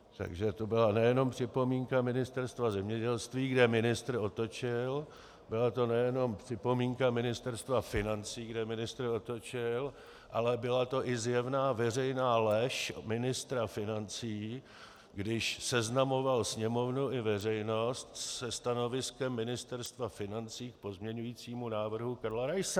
Takže to byla nejenom připomínka Ministerstva zemědělství, kde ministr otočil, byla to nejenom připomínka Ministerstva financí, kde ministr otočil, ale byla to i zjevná veřejná lež ministra financí, když seznamoval Sněmovnu i veřejnost se stanoviskem Ministerstva financí k pozměňovacímu návrhu Karla Raise.